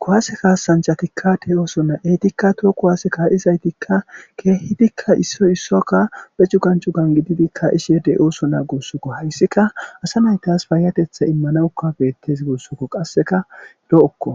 kuwase kaasanchatikka te ooso naa7eetikka tooku waase kaa7izaytikka keehidikka issoy issokka beccu gancu gangididikka ishede ooso naagussukko hayssika asa naytas faayatetha immana ukabeettes guussukko qasseka lo7okko